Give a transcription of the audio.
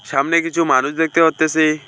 সামনে কিছু মানুষ দেখতে পারতেসি।